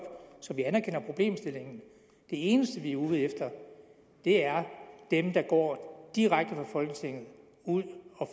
så vi anerkender problemstillingen de eneste vi er ude efter er dem der går direkte ud fra folketinget